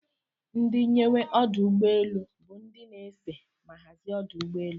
Ndi nyewe ọdụ ụgbọ elu bu ndi ese ma hazia ọdụ ụgbọ elu.